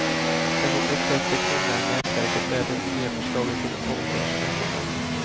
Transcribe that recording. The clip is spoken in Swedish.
Det som upprört det kvinnliga nätverket är det nya förslaget till ålderspensioner.